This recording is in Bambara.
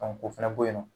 o fana bɛ yen nɔ